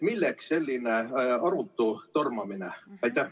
Milleks selline arutu tormamine?